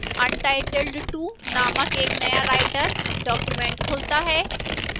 untitled 2 named एक नया writer document खुलता है